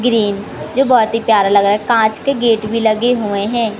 Green जो बहोत ही प्यारा लग रहा है कांच के गेट भी लगे हुए हैं।